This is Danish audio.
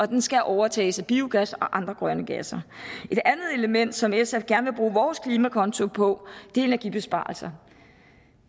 den skal overtages af biogas og andre grønne gasser et andet element som sf gerne vil bruge vores klimakonto på er energibesparelser